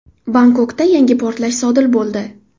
Bangkokda yangi portlash sodir bo‘ldi.